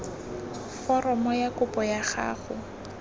foromo ya kopo ya gago